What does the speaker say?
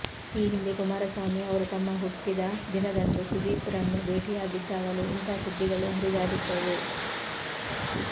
ಈ ಹಿಂದೆ ಕುಮಾರಸ್ವಾಮಿ ಅವರು ತಮ್ಮ ಹುಟ್ಟಿದ ದಿನದಂದು ಸುದೀಪ್ ರನ್ನು ಭೇಟಿಯಾಗಿದ್ದಾಗಲೂ ಇಂಥ ಸುದ್ದಿಗಳು ಹರಿದಾಡಿದ್ದವು